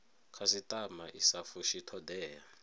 khasitama i sa fushi thodea